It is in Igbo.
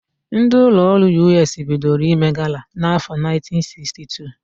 Ndị ụlọọrụ Yụeesii bidoro ime gala n'áfọ̀ 1962.